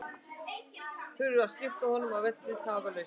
Þurfti að skipta honum af velli tafarlaust.